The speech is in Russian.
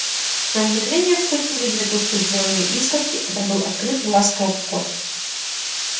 на мгновение вспыхнули две тусклые зелёные искорки это открыл глаза кот